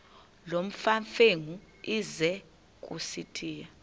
nolwamamfengu ize kusitiya